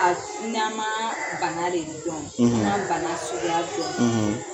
A sunaman banalen don; Ni bana suguya dɔn;